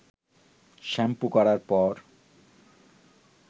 shampoo করার পর